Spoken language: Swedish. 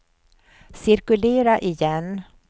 cirkulera igen